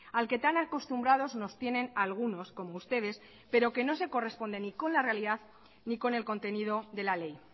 al que tan acostumbrados nos tienen algunos como ustedes pero que no se corresponde ni con la realidad ni con el contenido de la ley